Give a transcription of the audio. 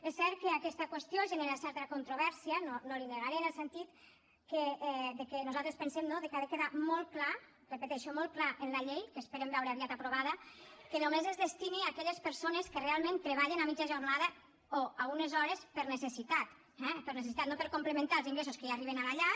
és cert que aquesta qüestió genera certa controvèrsia no li ho negaré en el sentit de que nosaltres pensem que ha de quedar molt clar ho repeteixo molt clar en la llei que esperem veure aviat aprovada que només es destini a aquelles persones que realment treballen a mitja jornada o a unes hores per necessitat eh per necessitat no per complementar els ingressos que ja arriben a la llar